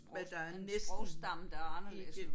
Men der er næsten ikke